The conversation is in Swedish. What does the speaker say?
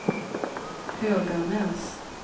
Höganäs